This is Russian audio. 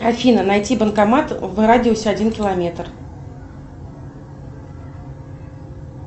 афина найти банкомат в радиусе один километр